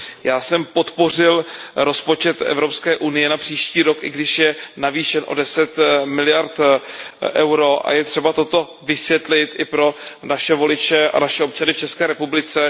Já jsem podpořil rozpočet Evropské unie na příští rok, i když je navýšen o 10 miliard EUR, a je třeba toto vysvětlit i pro naše voliče a naše občany v České republice.